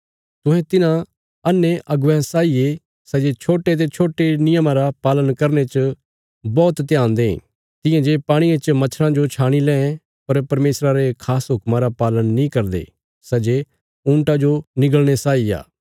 तुहें तिन्हां अन्हे अगुवेयां साई ये सै जे छोट्टे ते छोट्टे नियमा रा पालन करने च बौहत ध्यान दें तियां जे पाणिये च मच्छरा जो छाणी लैं पर परमेशरा रे खास हुक्मा रा पालन नीं करदे सै जे ऊँटा जो निंगल़े साई आ